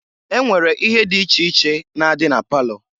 E nwere ihe di iche iche na-adị na palọ.